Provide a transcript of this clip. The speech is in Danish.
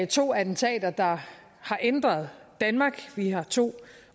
to attentater der har ændret danmark vi har to